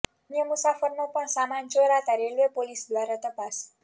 અન્ય મુસાફરનો પણ સામાન ચોરાતાં રેલવે પોલીસ દ્વારા તપાસ